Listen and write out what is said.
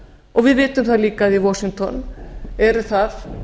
og við vitum það líka að í washington eru það